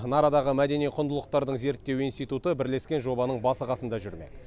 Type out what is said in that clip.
нарадағы мәдени құндылықтарды зерттеу институты бірлескен жобаның басы қасында жүрмек